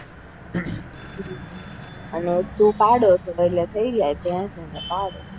એને